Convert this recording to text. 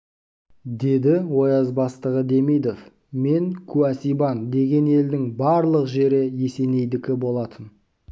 деді ояз бастығы демидов мен куә сибан деген елдің барлық жері есенейдікі болатын